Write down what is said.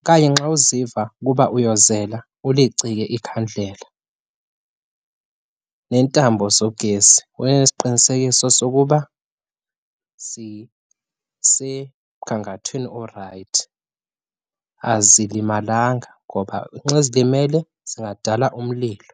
okanye nxa uziva ukuba uyozela ulicike ikhandlela. Neentambo zogesi, ube nesiqinisekiso sokuba zisemgangathweni orayithi, azilimalanga ngoba nxa zilimele zingadala umlilo.